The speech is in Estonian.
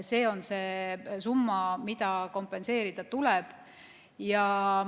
See on see summa, mis kompenseerida tuleb.